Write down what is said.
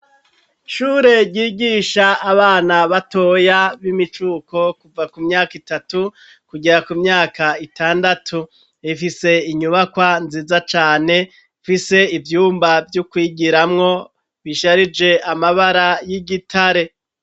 Ishure ryigisha abana batoya b'imicuko kuva ku myaka itatu kugera ku myaka itandatu ,ifise inyubakwa nziza cane ifise ivyumba vyokwigiramwo bisharije amabara y'igitare.